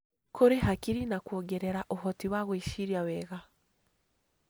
Kũrĩ hakiri na kuongerera ũhoti wa gwĩciria wega.